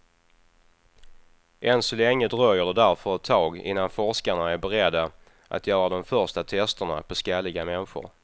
Än så länge dröjer det därför ett tag innan forskarna är beredda att göra de första testerna på skalliga människor.